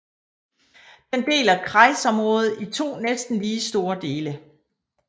Den deler kreisområdet i to næsten lige store dele